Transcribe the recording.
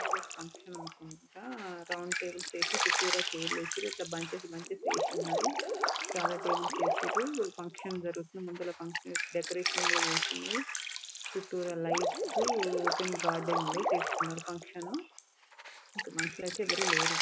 Function అనుకుంటా round tables ఎషి చుట్టురా ఛైర్లు ఏషిరు ఇట్లా బంచెస్ బంచెస్ ఏశునది చాల టేబుల్స్ ఏసిర్రు ఫంక్షన్ జరుగుతుంది అందులో డెకొరేషన్ కూడా చేసిఉంది చూటుర లైట్స్ ఓపెన్ గార్డెన్ లో చేస్తున్నారు ఫంక్షన్ ఇంకా మనుషులైతే ఎవరు లేరు .